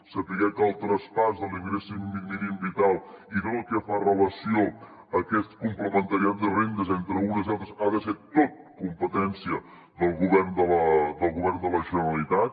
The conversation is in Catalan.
saber que el traspàs de l’ingrés mínim vital i tot el que fa relació a aquest complement de rendes entre unes i altres ha de ser tot competència del govern de la generalitat